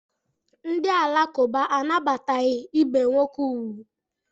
Ndị Alakụba anabataghị ibe nwoke ugwu.